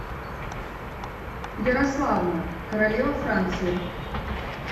ярославна королева франции